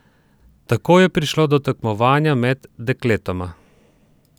Tako je prišlo do tekmovanja med dekletoma.